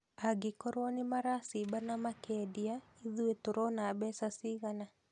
Angĩkorwo nĩmaracimba na makendia ĩthuĩ turona mbeca cigana